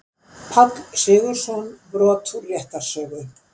Páll Sigurðsson, Brot úr réttarsögu.